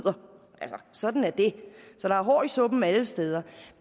altså sådan er det så der er hår i suppen alle steder